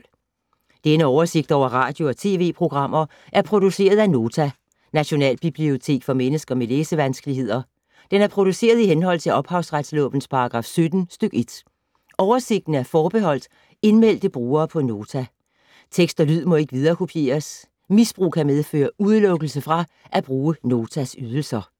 Denne oversigt over radio og TV-programmer er produceret af Nota, Nationalbibliotek for mennesker med læsevanskeligheder. Den er produceret i henhold til ophavsretslovens paragraf 17 stk. 1. Oversigten er forbeholdt indmeldte brugere på Nota. Tekst og lyd må ikke viderekopieres. Misbrug kan medføre udelukkelse fra at bruge Notas ydelser.